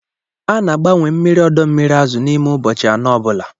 A na-agbanwe mmiri ọdọ mmiri azụ n'ime ụbọchị anọ ọ bụla.